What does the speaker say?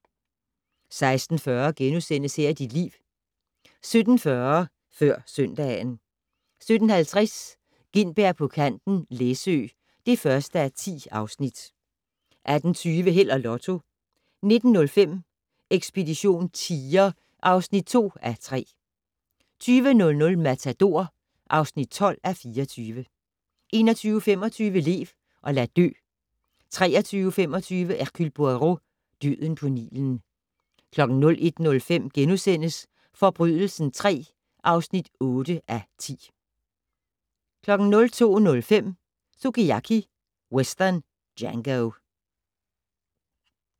16:40: Her er dit liv * 17:40: Før søndagen 17:50: Gintberg på kanten - Læsø (1:10) 18:20: Held og Lotto 19:05: Ekspedition tiger (2:3) 20:00: Matador (12:24) 21:25: Lev og lad dø 23:25: Hercule Poirot: Døden på Nilen 01:05: Forbrydelsen III (8:10)* 02:05: Sukiyaki Western Django